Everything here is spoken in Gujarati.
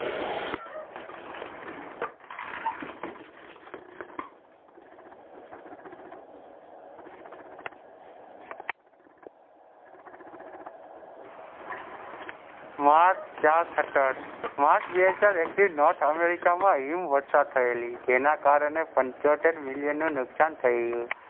માર્ચ ચાર સતત north america માં હિમ વર્ષ થયેલી જેના કારણે પંચોતેર million નું નુકસાન થયું.